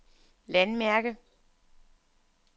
landmærke